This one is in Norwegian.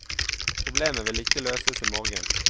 Problemet vil ikke løses i morgen.